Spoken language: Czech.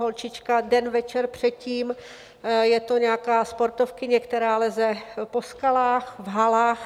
Holčička den večer předtím, je to nějaká sportovkyně, která leze po skalách, v halách.